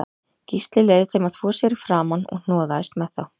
Gísli leyfði þeim að þvo sér í framan og hnoðaðist með þá